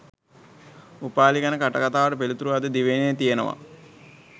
උපාලි ගැන කටකතාවට පිළිතුරු අද දිවයිනේ තියෙනවා